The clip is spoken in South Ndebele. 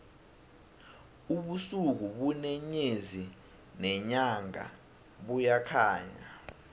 ubusuku ubune nyezi nenyanga buyakhanya